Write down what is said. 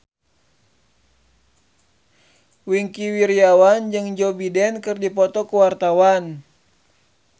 Wingky Wiryawan jeung Joe Biden keur dipoto ku wartawan